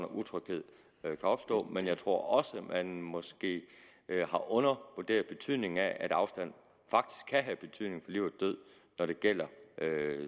utryghed kan opstå men jeg tror også man måske har undervurderet betydningen af at afstand faktisk kan have betydning for liv og død når det gælder